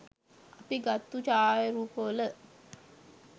අපි ගත්තු ඡායාරූපවල